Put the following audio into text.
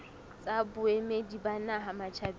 tsa boemedi ba naha matjhabeng